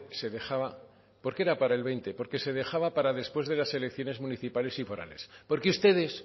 se dejaba porque era para el veinte porque se dejaba para después de las elecciones municipales y forales porque ustedes